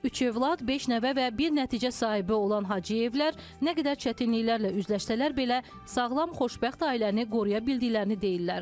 Üç övlad, beş nəvə və bir nəticə sahibi olan Hacıyevlər nə qədər çətinliklərlə üzləşsələr belə, sağlam xoşbəxt ailəni qoruya bildiklərini deyirlər.